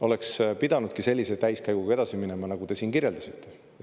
Oleks pidanudki sellise täiskäiguga edasi minema, millest te.